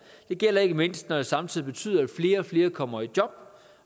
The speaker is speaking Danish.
det gælder ikke mindst når det samtidig betyder at flere og flere kommer i job